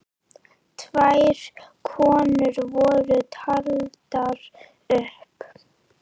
Tvær konur voru taldar upp.